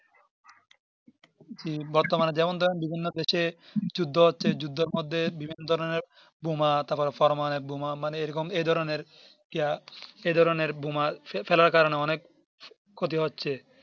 হম বর্তমানে যেমন ধরেন বিভিন্ন দেশে যুদ্ধ হচ্ছে যুদ্ধর মধ্যে বিভিন্ন ধরণের বোমা তাপরে Paromanobik বোমা মানে এরকম এই ধরণের এই ধরণের বোমা ফেলার কারণের অনেক ক্ষতি হচ্ছে